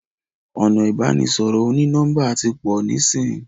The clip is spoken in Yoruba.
ọnà ibanisọrọ oni-nọmba tí pọ nisin.